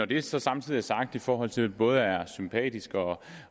det så samtidig er sagt i forhold til at både er sympatisk